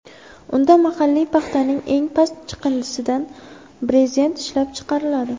Unda mahalliy paxtaning eng past chiqindisidan brezent ishlab chiqariladi.